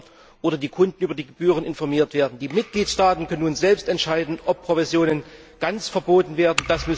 Steuern oder die Kunden über die Gebühren informiert werden. Die Mitgliedstaaten können nun selbst entscheiden, ob Provisionen ganz verboten werden.